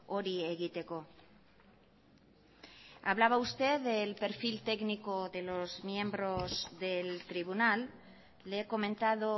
hori egiteko hablaba usted del perfil técnico de los miembros del tribunal le he comentado